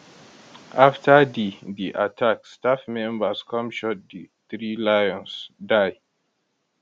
afta di di attack staff members come shot di three lions die